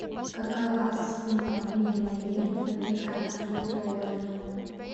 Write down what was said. какова сумма обмена лир в американские доллары